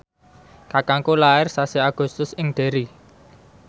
kakangku lair sasi Agustus ing Derry